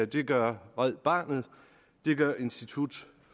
det gør red barnet det gør institut